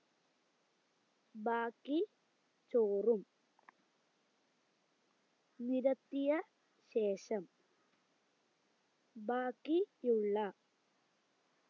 ബാക്കി ചോറും നിരത്തിയ ശേഷം ബാക്കി ഉള്ള